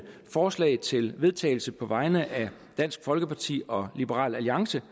forslag til vedtagelse på vegne af dansk folkeparti og liberal alliance